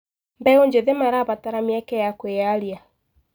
Mbeũ njĩthĩ marabatara mĩeke ya kwĩyaria.